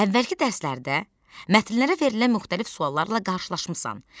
Əvvəlki dərslərdə mətnlərə verilən müxtəlif suallarla qarşılaşmısan.